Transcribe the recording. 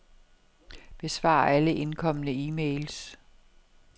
Besvar alle indkomne e-mails.